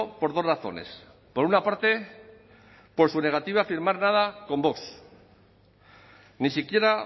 por dos razones por una parte por su negativa a firmar nada con vox ni siquiera